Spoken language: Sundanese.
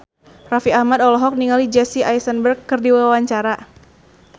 Raffi Ahmad olohok ningali Jesse Eisenberg keur diwawancara